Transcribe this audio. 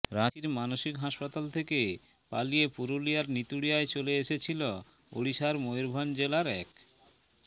রাঁচীর মানসিক হাসপাতাল থেকে পালিয়ে পুরুলিয়ার নিতুড়িয়ায় চলে এসেছিল ওড়িশার ময়ূরভঞ্জ জেলার এক